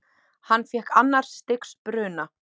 Hann fékk annars stigs bruna.